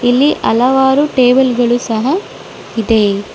ಇಲ್ಲಿ ಹಲವಾರು ಟೇಬಲ್ ಗಳು ಸಹಾ ಇದೆ.